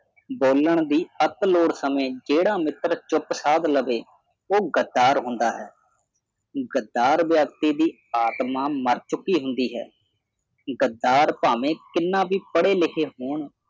ਬੋਲਣ ਦੀ ਅਕਲ ਔਰ ਸਮੇਂ ਜਿਹੜਾ ਮਿੱਤਰ ਚੁੱਪ ਸਾਧ ਲਵੇ ਉਹ ਗੱਦਾਰ ਹੁੰਦਾ ਹੈ ਗੱਦਾਰ ਵਿਅਕਤੀ ਦੀ ਆਤਮਾ ਮਰ ਚੁੱਕੀ ਹੁੰਦੀ ਹੈ ਗੱਦਾਰ ਭਾਵੇਂ ਕਿੰਨਾ ਵੀ ਪੜ੍ਹੇ ਲਿਖੇ ਹੋਣ